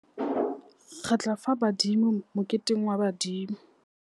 Re tla fa badimo moketeng wa badimo.